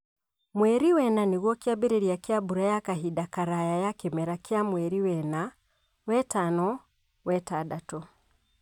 Mweri wena nĩguo kĩambirĩria kĩa mbura ya kahinda karaya ya kimera kĩa mweri wena-wetano-wetandatũ